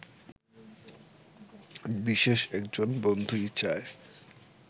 বিশেষ একজন বন্ধুই চায়